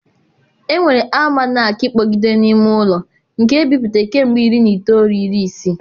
Enwere alụmanakịị kpọgidere n'ime ụlọ nke ebipụtara kemgbe iri na itoolu iri isii.